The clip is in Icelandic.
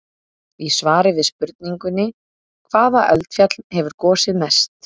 Í svari við spurningunni: Hvaða eldfjall hefur gosið mest?